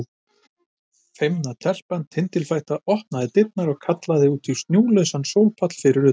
Feimna telpan tindilfætta opnaði dyrnar og kallaði út á snjólausan sólpall fyrir utan.